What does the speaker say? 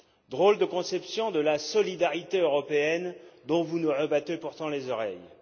Drôle de conception de la solidarité européenne dont vous nous rabattez pourtant les oreilles.